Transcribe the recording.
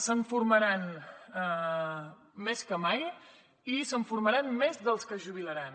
se’n formaran més que mai i se’n formaran més dels que es jubilaran